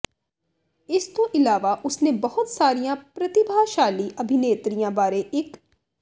ਇਸ ਤੋਂ ਇਲਾਵਾ ਉਸਨੇ ਬਹੁਤ ਸਾਰੀਆਂ ਪ੍ਰਤਿਭਾਸ਼ਾਲੀ ਅਭਿਨੇਤਰੀਆਂ ਬਾਰੇ ਇੱਕ